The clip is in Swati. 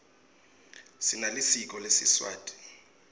sinelisiko lesiswati